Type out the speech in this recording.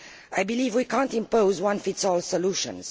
I believe we cannot impose one size fits all solutions.